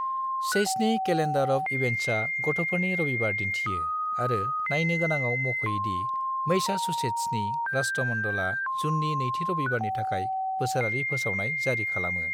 चैसनि calendar of इभेन्ट्सआ गथ'फोरनि रबिबार दिन्थियो आरो नायनो गोनाङाव मख'यो दि मैसाचुसेट्सनि राष्ट्रमंडलआ जूननि नैथि रबिबारनि थाखाय बोसोरारि फोसावनाय जारि खालामो।